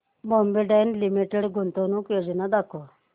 Bombay dyeing limited गुंतवणूक योजना दाखव